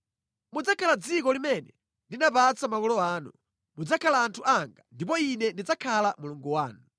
Mudzakhala mʼdziko limene ndinapatsa makolo anu. Mudzakhala anthu anga, ndipo Ine ndidzakhala Mulungu wanu.